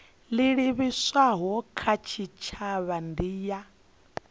livhiswaho kha tshitshavha ndi ya